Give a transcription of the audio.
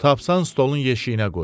Tapsan stolun yeşiyinə qoy.